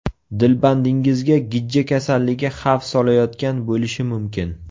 Dilbandingizga gijja kasalligi xavf solayotgan bo‘lishi mumkin.